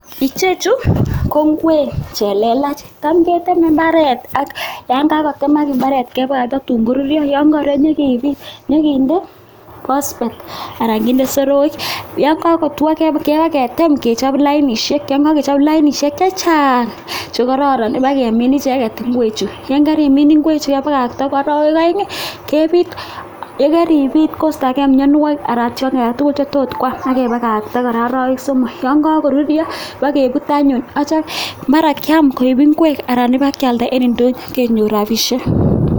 Ichechu ko ingwek che lelach, tam ketemei imbaaret atyo yon kakotemak imbaaret kebwa tatuun koruryo, tuun kakoruryo nyikinde phpsphate anan nyikinde soroik, yon kakotwoo, nyikitem kechop lainishek chechang che kororon nyikemin icheket ingwechu, yon kerimiin ingwechu kepakakta arawek aeng kepit, ye keripit koistokee mianwokik anan tingik alak tugul chetot kwaam ake pakakta arawek somok, yon kakoruryo pakepuut anyuun, achom mara kiaam koek ingwek anan ipkialda eng indonyo kenyor rapishek.